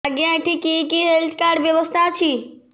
ଆଜ୍ଞା ଏଠି କି କି ହେଲ୍ଥ କାର୍ଡ ବ୍ୟବସ୍ଥା ଅଛି